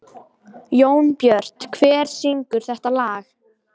Jónbjört, hver syngur þetta lag?